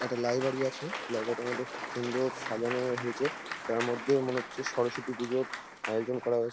একটা লাইব্রেরী আছে লাইব্রেরী -টার মধ্যে খুব সুন্দর সাজানো হয়েছে তার মধ্যে মনে হচ্ছে সরস্বতী পুজোর আয়োজন করা হয়ে--